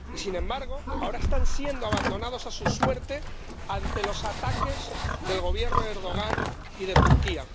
Y, sin embargo, ahora están siendo abandonados a su suerte ante los ataques del Gobierno de Erdogan y de Turquía.